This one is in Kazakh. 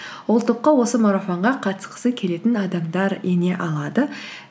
ол топқа осы марафонға қатысқысы келетін адамдар ене алады